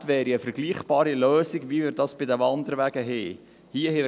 Wünschenswert wäre eine vergleichbare Lösung, wie wir sie bei den Wanderwegen haben: